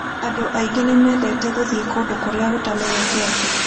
Andũ aingĩ nĩ mendete gũthiĩ kũndũ kũrĩa gũtamenyekete.